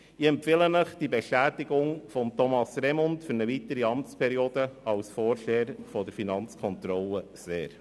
Ich empfehle Ihnen die Bestätigung von Thomas Remund für eine weitere Amtsperiode als Vorsteher der Finanzkontrolle sehr.